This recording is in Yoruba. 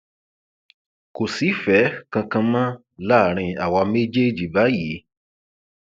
kò sífẹẹ kankan mọ láàrin àwa méjèèjì báyìí